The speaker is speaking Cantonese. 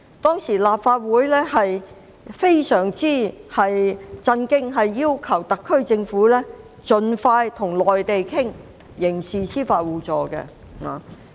當時立法會非常震驚，要求特區政府盡快跟內地討論刑事司法互助。